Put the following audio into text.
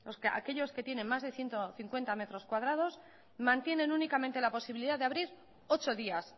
aquellos que tienen más de ciento cincuenta metros cuadrados mantienen únicamente la posibilidad de abrir ocho días